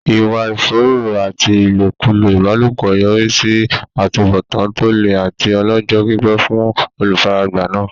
Ìwà ìfòòró àti ìlòkulò ìbálòpọ̀ yọrí sí àtúbọ̀tán tó le àti ọlọ́jọ́-pípẹ́ fún olùfaragbá náà.